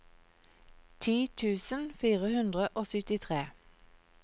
ti tusen fire hundre og syttitre